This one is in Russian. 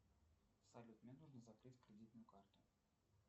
салют мне нужно закрыть кредитную карту